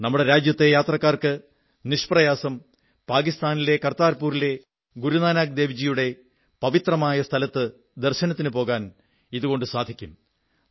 നമ്മുടെ രാജ്യത്തെ യാത്രക്കാർക്ക് നിഷ്പ്രയാസം പാകിസ്ഥാനിലെ കർതാർപുരിലെ ഗുരുനാനക് ദേവ് ജിയുടെ പവിത്രമായ സ്ഥലത്ത് ദർശനത്തിനു പോകാൻ ഇതുകൊണ്ടു സാധിക്കും